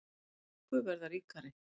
Þeir ríku verða ríkari